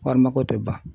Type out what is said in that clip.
Wari mako tɛ ban